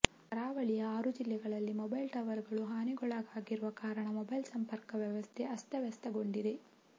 ಕರಾವಳಿಯ ಆರು ಜಿಲ್ಲೆಗಳಲ್ಲಿ ಮೊಬೈಲ್ ಟವರ್ಗಳು ಹಾನಿಗೊಳಗಾಗಿರುವ ಕಾರಣ ಮೊಬೈಲ್ ಸಂಪರ್ಕ ವ್ಯವಸ್ಥೆ ಅಸ್ತವ್ಯಸ್ತಗೊಂಡಿದೆ